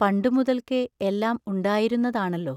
പണ്ടു മുതൽക്കേ എല്ലാം ഉണ്ടായിരുന്നതാണല്ലോ!